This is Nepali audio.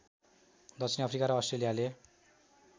दक्षिण अफ्रीका र अस्ट्रेलियाले